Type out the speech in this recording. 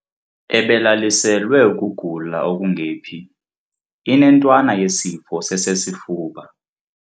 Ebelaliselwe ukugula okungephi. inentwana yesifo sesesifuba